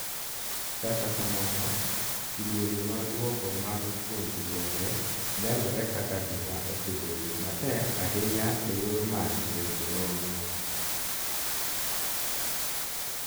Kata kamano, kidienje mag dwoko mag puonjruoge nenore kaka gima osebedo matek ahinya eyor manyo weche nonro